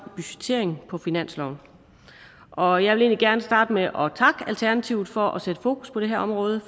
budgettering på finansloven og jeg vil egentlig gerne starte med at takke alternativet for at sætte fokus på det her område